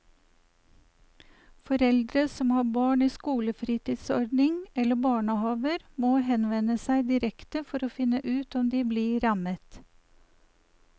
Foreldre som har barn i skolefritidsordning eller barnehaver må henvende seg direkte for å finne ut om de blir rammet.